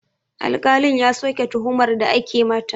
Alƙalin ya soke tuhumar da ake mata